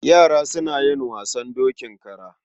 Yara suna yi wasan dokin kara.